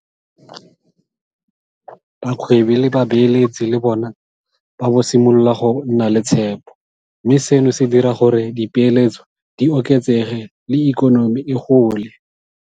Bagwebi le babeeletsi le bona ba simolola go nna le tshepo, mme seno se dira gore dipeeletso di oketsege le ikonomi e gole.